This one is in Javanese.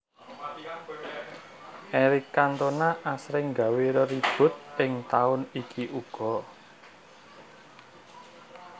Eric Cantona asring gawé reribut ing taun iki uga